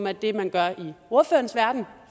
er det man gør i ordførerens verden